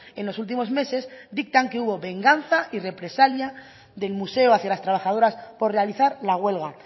en los últimos meses dictan que hubo venganza y represalia del museo hacia las trabajadoras por realizar la huelga